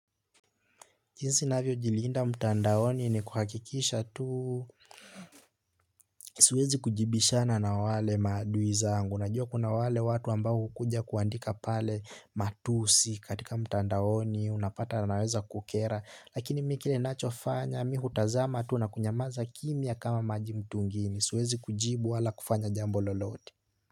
Jinsi navyo jiliinda mtandaoni ni kuhakikisha tu siwezi kujibishana na wale madui zangu. Najua kuna watu ambao hukuja kuandika pale matusi mtandaoni. Unapata naweza kukera. Lakini mi kile nachofanya mi hutizama tu na kunyama kimya kama maji mtungini. Suwezi kujibu wala kufanya jambo lolote.